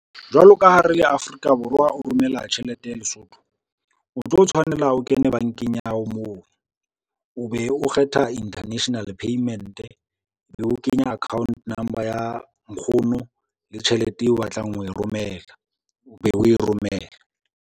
Jwalo ka ha re le Afrika Borwa o romela tjhelete ya Lesotho, o tlo tshwanela o kena bankeng ya hao moo o be o kgetha international payment, ebe o kenya account number ya nkgono le tjhelete eo o batlang ho e romela, o be o e romela.